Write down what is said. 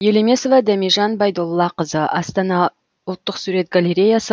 елемесова дәмежан байдоллақызы астана ұлттық сурет галереясы